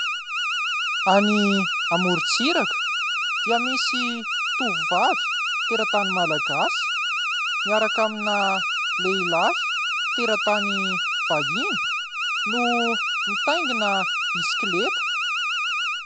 Any amorontsiraka dia misy tovovavy teratany Malagasy miaraka Amina lehilahy teratany vahiny no mitaingina bisikileta.